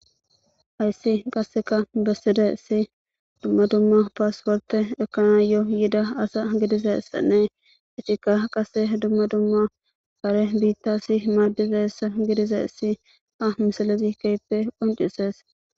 hayssi qasseka bessidaysi dumma dumma pasporte ekanayo yida asa gidizaysane itikka qasse dumma dumma kare biittasi maadizaysa gidizaysi ha misalezi keyppe qoncises.